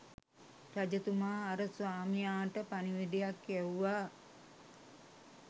රජතුමා අර ස්වාමියාට පණිවිඩයක් යැව්වා